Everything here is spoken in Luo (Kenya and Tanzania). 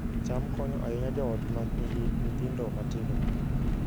cham konyo ahinya joot ma nigi nyithindo matindo